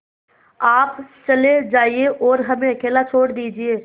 आप चले जाइए और हमें अकेला छोड़ दीजिए